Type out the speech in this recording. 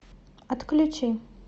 отключи